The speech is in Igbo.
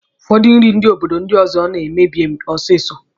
Ụfọdụ nri ndị obodo ndi ọzọ na-emebi ọsịsọ.